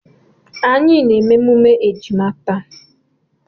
Anyị na-eme emume ejima taa.